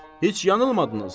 Heç yanılmadınız.